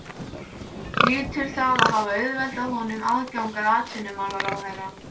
Hlýtur það að hafa auðveldað honum aðgang að atvinnumálaráðherra.